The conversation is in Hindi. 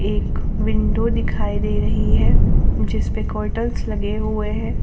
एक विंडो दिखाई दे रही है जिस पे कर्टेन्स लगे हुए हैं।